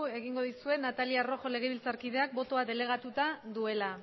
egingo dizuet natalia rojo legebiltzarkideak botoa delegatuta duela